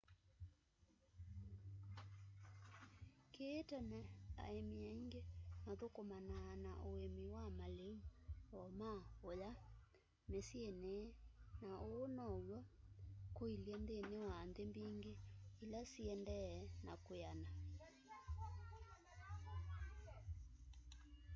kĩĩ tene aĩmi aingĩ mathũkũmanaa na ũĩmĩ wa malĩu o ma'ũya mĩsyĩnĩ na ũu no w'o kũĩlyĩ nthĩnĩ wa nthĩ mbingĩ ila siendee na kwĩana